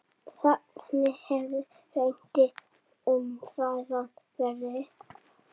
Þannig hefur reyndar umræðan verið.